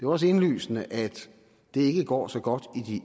også indlysende at det ikke går så godt